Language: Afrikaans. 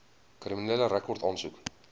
kriminele rekord aansoek